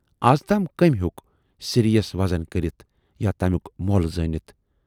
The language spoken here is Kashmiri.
اَزتام کمٔۍ ہیوک سِرۍیَس وزَن کٔرِتھ یا تمیُک مۅل زٲنِتھ۔